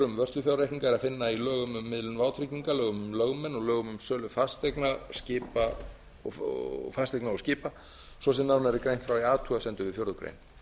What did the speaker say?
um vörslufjárreikninga er að finna í lögum um miðlun vátrygginga lögum um lögmenn og lögum um sölu fasteigna og skipa svo sem nánar er greint frá í athugasemdum við fjórðu grein